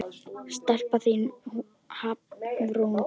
Stelpan þín, Hafrún Dóra.